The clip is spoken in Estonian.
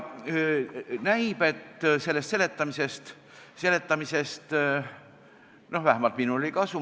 Näib, et sellest seletamisest oli vähemalt minul kasu.